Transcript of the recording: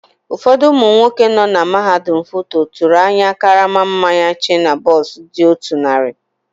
Ụfọdụ ụmụ nwoke nọ na mahadum FUTO tụrụ ahịa karama mmanya shiner bock dị otú narị.